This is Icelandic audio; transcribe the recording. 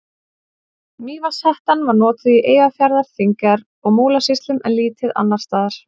Mývatnshettan var notuð í Eyjafjarðar-, Þingeyjar- og Múlasýslum en lítið annars staðar.